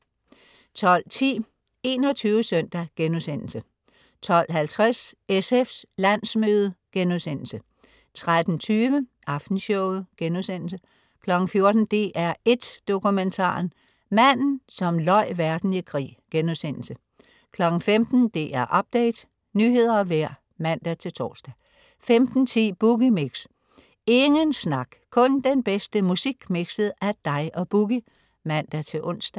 12.10 21 SØNDAG* 12.50 SFs landsmøde* 13.20 Aftenshowet* 14.00 DR1 Dokumentaren: Manden som løj verden i krig* 15.00 DR Update. Nyheder og vejr (man-tors) 15.10 Boogie Mix. Ingen snak, kun den bedste musik mikset af dig og Boogie (man-ons)